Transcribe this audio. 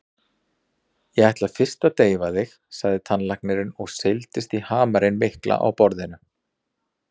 Ég ætla fyrst að deyfa þig, sagði tannlæknirinn og seildist í hamarinn mikla á borðinu.